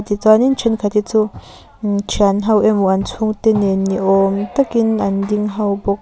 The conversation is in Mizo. tichuanin thenkhat hi chu thianho emaw an chhungte nen ni awm takin an ding ho bawk.